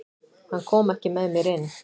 Hann kom ekki með mér inn.